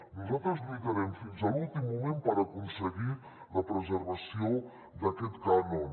nosaltres lluitarem fins a l’últim moment per aconseguir la preservació d’aquest cànon